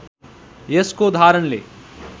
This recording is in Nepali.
यसको धारणले